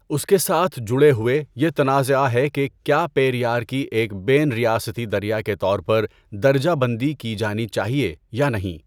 اس کے ساتھ جڑے ہوئے، یہ تنازعہ ہے کہ کیا پیریار کی ایک بین ریاستی دریا کے طور پر درجہ بندی کی جانی چاہئے یا نہیں۔